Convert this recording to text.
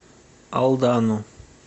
алдану